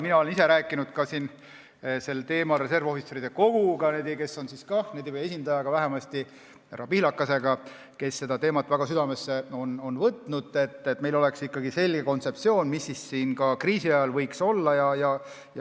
Mina olen ise rääkinud sel teemal reservohvitseride koguga või vähemasti selle esindaja härra Pihlakaga, kes on väga südamesse võtnud seda, et meil oleks ikkagi selge kontseptsioon, mis kriisi ajal võiks toimuda.